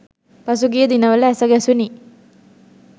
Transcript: පසුගිය දිනවල ඇස ගැසුණි